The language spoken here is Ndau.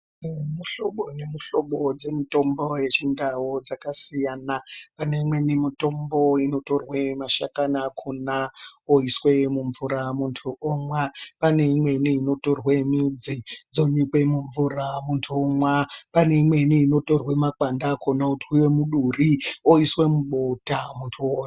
Mihlobo dzemutombo yechindau dzakasiyana pane imweni mutombo inotorwe mashakani achona oiswe mumvura muntu omwa pane imweni inotorwe midzi dzonyikwe mumvura muntu womwa pane imweni inotorwe makwande achona oiswe otwiwa muduri oiswe mubota muntu omwa